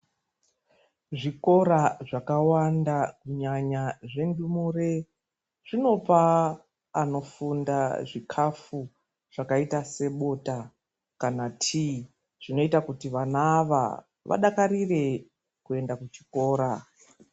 Zvikora zvakawanda kunyanya zvendumure zvinopa anofunda zvikafu zvakaita sebota kana tii zvinoita kuti vana ava vadakarire kuenda kuchikora.